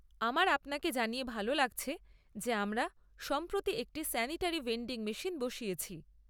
আমার আপনাকে জানিয়ে ভাল লাগছে যে আমরা সম্প্রতি একটি স্যানিটারি ভেন্ডিং মেশিন বসিয়েছি।